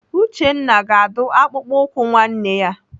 Uchenna na-adụ akpụkpọ ụkwụ nwanne ya.